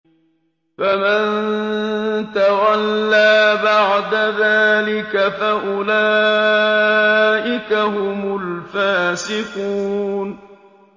فَمَن تَوَلَّىٰ بَعْدَ ذَٰلِكَ فَأُولَٰئِكَ هُمُ الْفَاسِقُونَ